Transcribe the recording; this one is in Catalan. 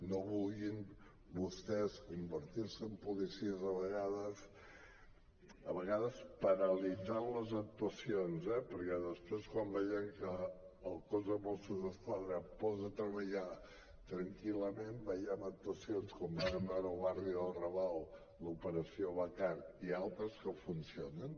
no vulguin vostès convertir se en policies a vegades a vegades paralitzant les actuacions eh perquè després quan veiem que el cos de mossos d’esquadra es posa a treballar tranquil·lament veiem actuacions com vàrem veure al barri del raval l’operació bacar i altres que funcionen